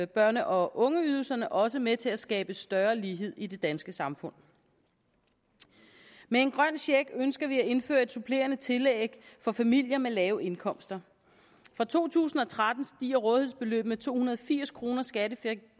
børne og ungeydelsen også med til at skabe større lighed i det danske samfund med en grøn check ønsker vi at indføre et supplerende tillæg for familier med lave indkomster fra to tusind og tretten stiger rådighedsbeløbet med to hundrede og firs kroner skattefrit